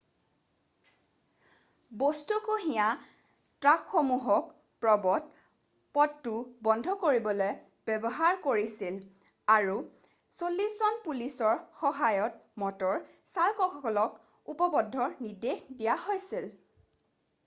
বস্তু কঢ়িওৱা ট্ৰাকসমূহক প্ৰৱ্শ পথটো বন্ধ কৰিবলৈ ব্যৱহাৰ কৰিছিল আৰু 80জন পুলিচৰ সহায়ত মটৰ চালকসকলক উপপথৰ নিৰ্দেশ দিয়া হৈছিল